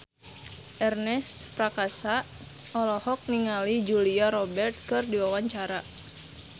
Ernest Prakasa olohok ningali Julia Robert keur diwawancara